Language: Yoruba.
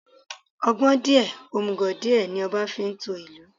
Ọgbọ́n díè, òmùgò díẹ̀, ní ọba fi ń to ìlú.